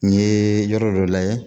N yeee yɔrɔ dɔ layɛ